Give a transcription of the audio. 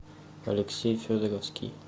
алексей федоровский